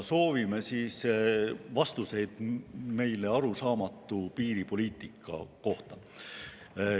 Soovime vastuseid meile arusaamatu piiripoliitika kohta.